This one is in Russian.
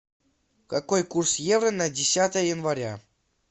какой курс евро на десятое января